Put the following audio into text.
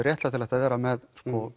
réttlætanlegt að vera með